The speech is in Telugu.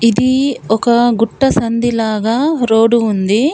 దీ ఒక గుట్ట సంధి లాగా రోడు ఉంది.